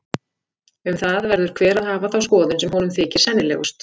Um það verður hver að hafa þá skoðun sem honum þykir sennilegust.